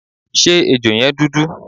Ṣé ejò yẹn dúdú?